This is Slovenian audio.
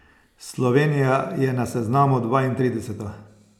Slovenija je na seznamu dvaintrideseta.